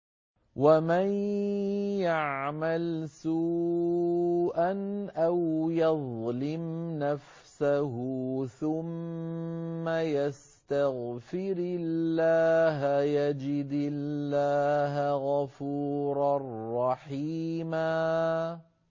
وَمَن يَعْمَلْ سُوءًا أَوْ يَظْلِمْ نَفْسَهُ ثُمَّ يَسْتَغْفِرِ اللَّهَ يَجِدِ اللَّهَ غَفُورًا رَّحِيمًا